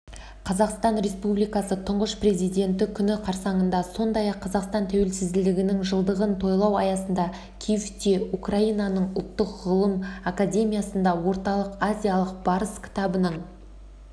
қазақстан республикасы тұңғыш президенті күні қарсаңында сондай-ақ қазақстан тәуелсіздігінің жылдығын тойлау аясында киевте украинаның ұлттық ғылым академиясында орталық азиялық барыс кітабының